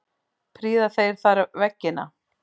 Prýða þeir þar veggina.